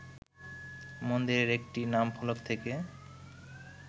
মন্দিরের একটি নামফলক থেকে